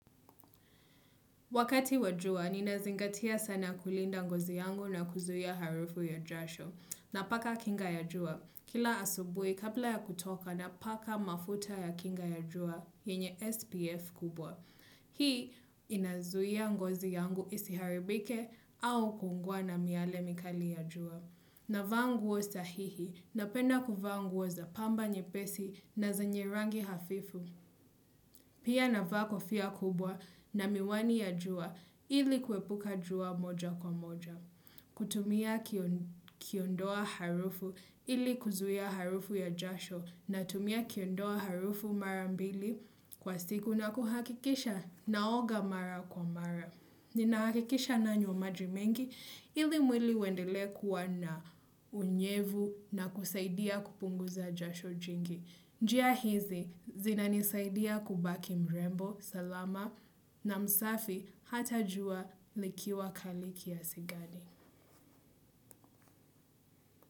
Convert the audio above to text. Wakati wa jua, ninazingatia sana kulinda ngozi yangu na kuzuia harufu ya jasho, napaka kinga ya jua. Kila asubuhi, kabla ya kutoka, napaka mafuta ya kinga ya jua, yenye SPF kubwa. Hii, inazuia ngozi yangu isiharibike au ku ungua na miale mikali ya jua. Navaa nguo sahihi, napenda kuvaa nguo za pamba nyepesi na zenye rangi hafifu. Pia navaa kofia kubwa na miwani ya jua ili kuepuka jua moja kwa moja. Kutumia kiondoa harufu, ili kuzuia harufu ya jasho, natumia kiondoa harufu mara mbili kwa siku na kuhakikisha naoga mara kwa mara. Nina hakikisha nanywa maji mengi ili mwili uendelee kuwa na unyevu na kusaidia kupunguza jasho jingi. Njia hizi zinanisaidia kubaki mrembo, salama na msafi, hata jua likiwa kali kiasi gani.